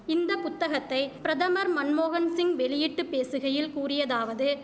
இந்த புத்தகத்தை பிரதமர் மன்மோகன்சிங் வெளியிட்டுப் பேசுகையில் கூறியதாவது